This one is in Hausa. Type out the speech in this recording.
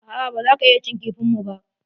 A'a, baza ka iya cin kifin mu ba.